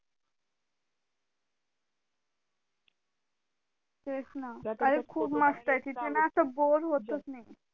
ते चं ना अरे खूप मस्त आहे तिथे ना असं बोर होत नाही